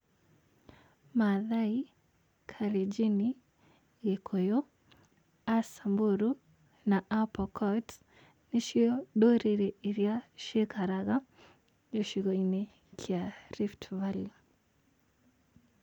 Maathai, Karenjini, Gĩkũyũ, Asamburu, Apokot nĩcio ndũrĩrĩ iria cikaraga gĩcigo-inĩ kĩa Rift Valley.